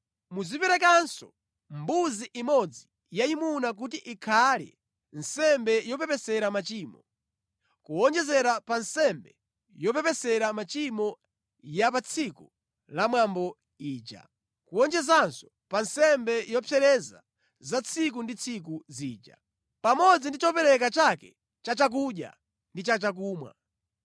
Muziperekanso mbuzi imodzi yayimuna kuti izikhala nsembe yopepesera machimo, kuwonjezera pa nsembe yopepesera machimo ya pa tsiku la mwambo ija, kuwonjezanso pa nsembe zopsereza za tsiku ndi tsiku zija, pamodzi ndi chopereka chake cha chakudya ndi cha chakumwa.